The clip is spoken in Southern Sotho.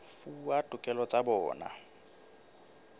fuwa ditokelo tsa bona tsa